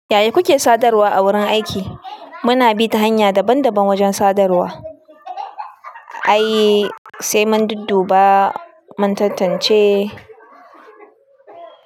Yaya kuke sadarwa a wurin aiki? Muna bi ta hanya daban-daban wajen sadarwa. Ai sai mun dudduba, mun tantance.